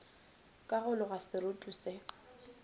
ka go loga seroto se